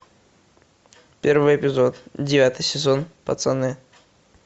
первый эпизод девятый сезон пацаны